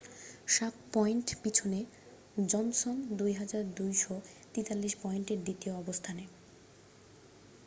7 point পিছনে Johnson 2,243 পয়েন্টে দ্বিতীয় অবস্থানে